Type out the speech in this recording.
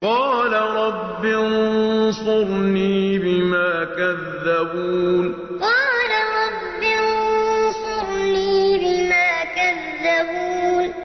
قَالَ رَبِّ انصُرْنِي بِمَا كَذَّبُونِ قَالَ رَبِّ انصُرْنِي بِمَا كَذَّبُونِ